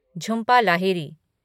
Jhumpa Lahiri